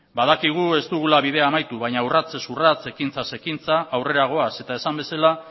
badakigu ez dugula bidea amaitu baina urratsez urrats eta ekintzaz ekintza aurrera goaz eta esan bezala